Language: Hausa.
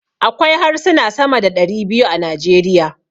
Akwai harsuna sama da ɗari biyu a Najeriya.